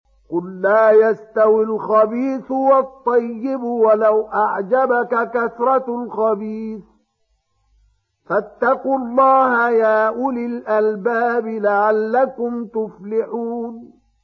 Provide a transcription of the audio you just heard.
قُل لَّا يَسْتَوِي الْخَبِيثُ وَالطَّيِّبُ وَلَوْ أَعْجَبَكَ كَثْرَةُ الْخَبِيثِ ۚ فَاتَّقُوا اللَّهَ يَا أُولِي الْأَلْبَابِ لَعَلَّكُمْ تُفْلِحُونَ